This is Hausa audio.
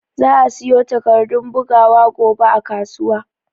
Za'a siyo takardun bugawa gobe a kasuwa.